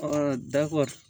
dako